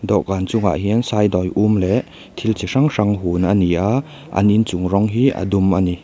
dawhkan chungah hian sai dawi um leh thil chi hrang hrang hun a ni a an in chung rawng hi a dum a ni.